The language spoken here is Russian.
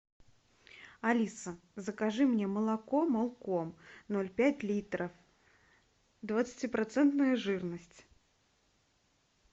алиса закажи мне молоко молком ноль пять литра двадцатипроцентная жирность